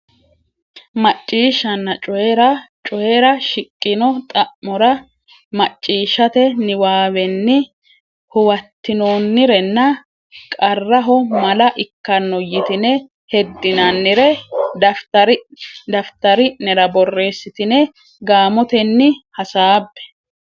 Macciishshanna Coyi ra Coyi ra shiqqino xa mora macciishshate niwaawenni huwattinoonnirenna qarraho mala ikkanno yitine heddinannire daftari nera borreessitine gaamotenni hasaabbe.